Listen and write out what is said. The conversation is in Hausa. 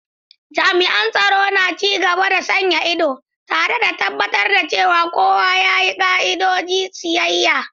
Jami'an tsaro na ci gaba da sanya ido, tare da tabbatar da cewa kowa ya bi ka'idojin siyayya.